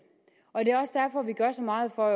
og det er også derfor vi gør så meget for